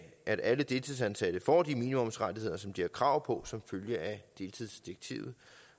at alle deltidsansatte får de minimumsrettigheder som de har krav på som følge af deltidsdirektivet